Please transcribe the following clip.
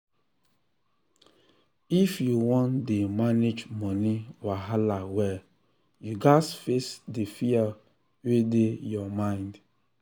if you wan dey manage money wahala well you gats face di fear wey dey your mind. um